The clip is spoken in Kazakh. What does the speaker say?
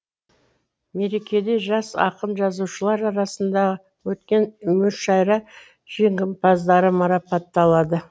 мерекеде жас ақын жазушылар арасында өткен мүшайра жеңімпаздары марапатталады